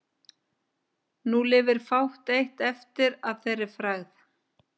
Nú lifir fátt eitt eftir að þeirri frægð.